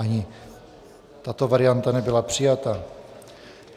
Ani tato varianta nebyla přijata.